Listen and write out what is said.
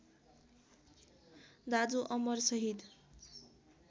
दाजु अमर शहीद